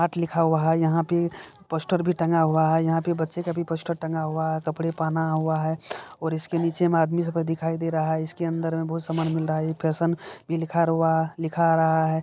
Mart लिखा हुआ है यहाँ पे पोस्टर भी टंगा हुआ है यहाँ पे बच्चे का भी पोस्टर टंगा हुआ है कपड़े पहना हुआ है और इसके नीचे में आदमी सब दिखाई दे रहा है इसके अंदर में बहोत सामान मिल रहा है ये फैशन भी लिखा रुआ लिखा आ रहा है।